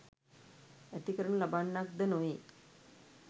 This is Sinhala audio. ඇති කරනු ලබන්නක්ද නොවේ.